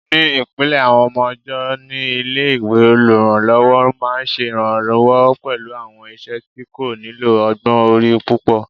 Ní ìpìlẹ̀ àwọn ọmọ ọ̀jọ́ ní ilé-ìwé, olùrànlọ́wọ́ máa ṣe ìrànwọ́ pẹ̀lú àwọn iṣẹ́ tí kò nílò ọgbọ́n orí púpọ̀